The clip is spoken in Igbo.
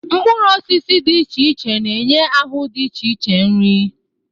mkpụrụ osisi dị iche iche na-enye ahụ dị iche iche nri